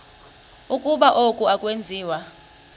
ukuba oku akwenziwa